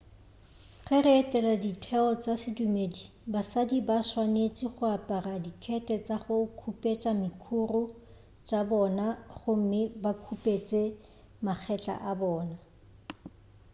ge re etela ditheo tša sedumedi basadi ba swanetše go apara dikhethe tša go khupetša dikhuru tša bona gomme ba khupetše magetla a bona